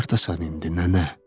Hardasan indi nənə?